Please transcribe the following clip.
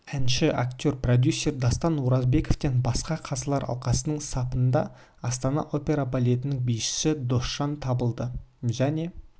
әнші актер продюсер дастан оразбековтен басқа қазылар алқасының сапында астана опера балетінің бишісі досжан табылды және